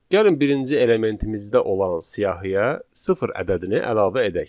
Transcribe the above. Gəlin birinci elementimizdə olan siyahıya sıfır ədədini əlavə edək.